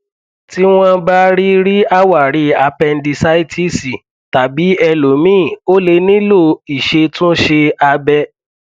tí wọn bá rí rí àwárí apẹndísáìtísì tàbí ẹlòmíì o lè nílò ìṣètúnṣe abẹ